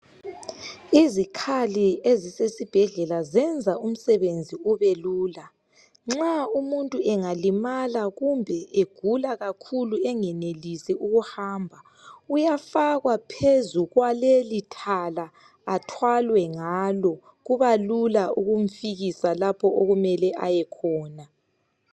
Izikhali elisesibhedlela zenza umsebenzi ubelula kakhulu nxa umuntu engalimala kumbe egula kakhulu engenelisi ukuhamba uyafakwa phezu kwaleli thala athalwe ngalo kuba lula ukumfikisa lapho okumele aye khona.